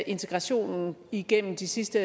integrationen igennem de sidste